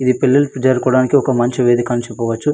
ఇది పిల్లల్లిక్కి జరుపుకోడానికి ఒక మంచి వేదిక అని చెప్పవచ్చు.